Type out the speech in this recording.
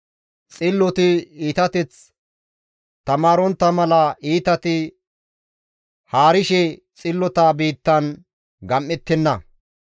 Xilloti iitateth tamaarontta mala iitati haarishe xillota biittan gam7ettenna.